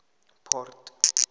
port